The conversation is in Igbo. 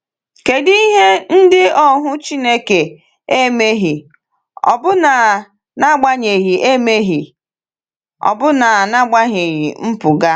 Kedụ ihe ndị ohu Chineke emeghị ọbụna n’agbanyeghị emeghị ọbụna n’agbanyeghị mpụga?